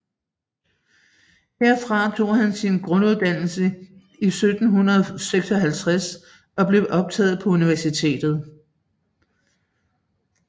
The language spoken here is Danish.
Herfra tog han sin grunduddannelse i 1756 og blev optaget på universitetet